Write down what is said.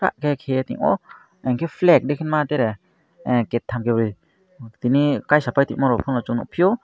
ahh ket amo enke flag henui ma tere gate tanke bri tini kaisa paite borok fano chung nug fio.